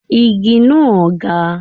Igi náà ga.